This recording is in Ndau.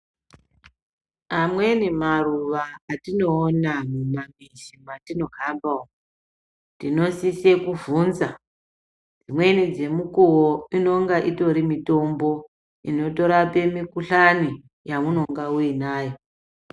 Amweni maruva atinoona mumamizi mwatinohamba umo tinosise kuvvunza. Dzimweni dzemukuwo inenge itori mitombo inorapa mikhuhlani yaunenge uinawo.